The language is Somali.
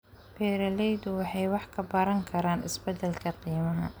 Beeraleydu waxay wax ka baran karaan isbeddelka qiimaha.